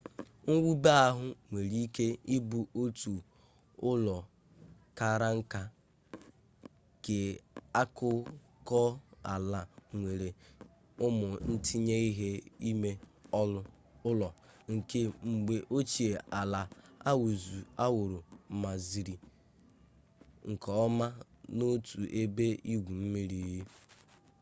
mwube ahụ nwere ike ịbụ otu ụlọ kara nka keakụkọala nwere ụmụ ntinye ihe ime ụlọ nke mgbe ochie ala awụrụmaziri nke ọma na otu ebe igwu mmiri